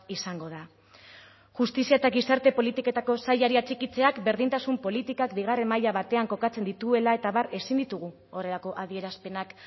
izango da justizia eta gizarte politiketako sailari atxikitzeak berdintasun politikak bigarren maila batean kokatzen dituela eta abar ezin ditugu horrelako adierazpenak